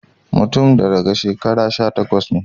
Mutanen da daga shekara sha takwas nee